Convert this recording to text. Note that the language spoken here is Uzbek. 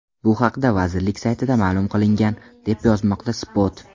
Bu haqda vazirlik saytida ma’lum qilingan, deb yozmoqda Spot.